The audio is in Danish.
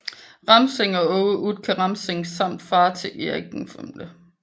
Ramsing og Aage Utke Ramsing samt far til Erik V